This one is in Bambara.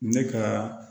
Ne ka